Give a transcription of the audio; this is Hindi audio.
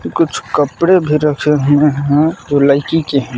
कुछ कपड़े भी रखे हुए हैं जो लइकी के हैं।